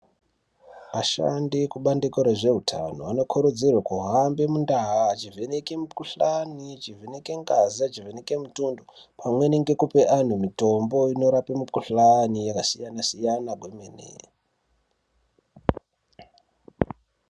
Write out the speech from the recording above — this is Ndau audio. Ashandi ekubandiko rezveutano vanokurudzirwa kuhamba mundau vechivheneka mukuhlani, vechivheneka ngazi pamweni nekupa antu mitombo inorapa mikuhlani yakasiyana siyana kwemene.